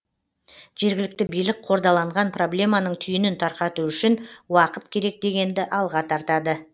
жергілікті билік қордаланған проблеманың түйінін тарқату үшін уақыт керек дегенді алға тартады